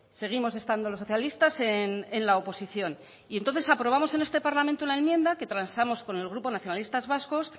seguimos estando los socialistas en la oposición y entonces aprobamos en este parlamento una enmienda que transamos con el grupo nacionalistas vascos